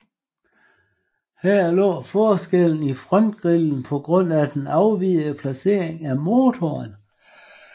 Her lå forskellen i frontgrillen på grund af den afvigende placering af motoren